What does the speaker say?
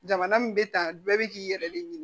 Jamana min bɛ ta bɛɛ bɛ k'i yɛrɛ de ɲini